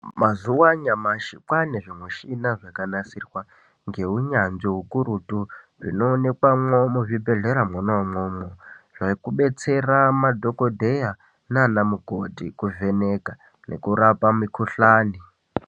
MaZuwa anyamashi kwaane zvimushina zvakanasirwa ngeunyanzvi ukurutu zvinoonekwamwo muzvibhedhleramwo umwomwo zvekubetsera madhokodheya nana mukoti kuvheneka nekurapa mukhuhlani.